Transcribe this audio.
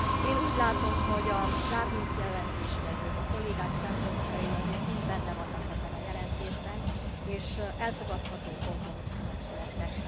Én úgy látom, hogy az árnyékjelentéstevők, a kollégák szempontjai azért mind benne vannak ebben a jelentésben és elfogadható kompromisszumok születtek.